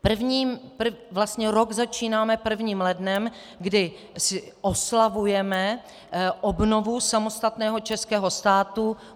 Rok začínáme prvním lednem, kdy oslavujeme obnovu samostatného českého státu.